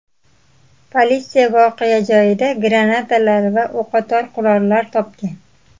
Politsiya voqea joyida granatalar va o‘qotar qurollar topgan.